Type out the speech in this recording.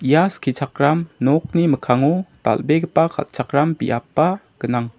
ia skichakram nokni mikkango dal·begipa ka·chakram biapba gnang.